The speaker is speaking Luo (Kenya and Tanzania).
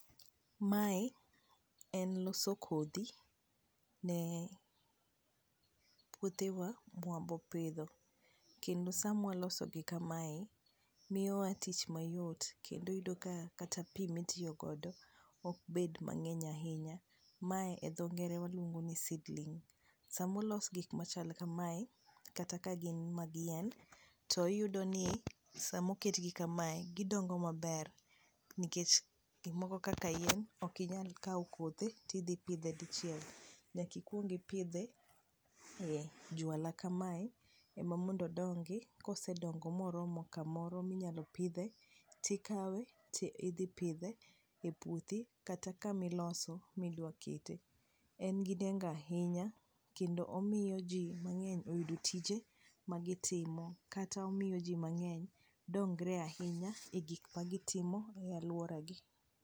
mae en loso kodhi ne puodhewa mwa bo pidho ,kendo samwa loso gi kamae miyo wa tich mayot kendo iyudo ka kata pi mitiyo godo ok bed mang'eny ahinya, mae e dho ngere waluongo ni seedling sama olos gik machal kamae kata ka gin mag yien to iyudo ni sama oket gi kamae to gidongo maber nikech gik moko kaka yien okinyal kawo kothe ti dhi pidhe dichiel nyaka ikuong ipidhe e juala kamae ema mondo odongi ,kosedongo moromo kamoro minyalo pidhe tikawe ti dhi pidhe e puothi kata kamiloso midwa kete ,en gi nego ahinya kendo omiyo ji mang'eny oyudo tije magi timo kata omiyo ji mang'eny oyudo tije ma gi timo kata omiyo ji mang'eny dongre ahinya e aluora gi.